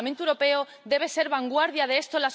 El Parlamento Europeo debe ser vanguardia de esto.